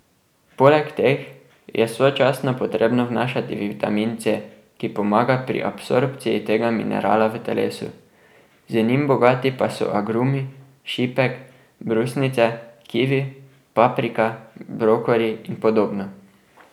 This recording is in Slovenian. Poleg teh je sočasno potrebno vnašati vitamin C, ki pomaga pri absorpciji tega minerala v telesu, z njim bogati pa so agrumi, šipek, brusnice, kivi, paprika, brokoli in podobno.